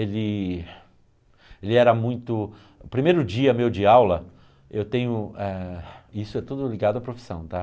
Ele ele era muito... O primeiro dia meu de aula, eu tenho ah... E isso é tudo ligado à profissão, tá?